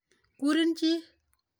Kurin chi.